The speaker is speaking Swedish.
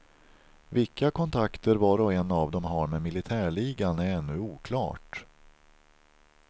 Vilka kontakter var och en av dem har med militärligan är ännu oklart.